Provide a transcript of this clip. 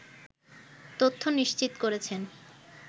তথ্য নিশ্চিত করেছেন